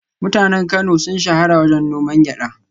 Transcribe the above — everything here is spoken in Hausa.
Mutanen Kano sun shahara wajen noman gyada